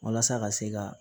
Walasa ka se ka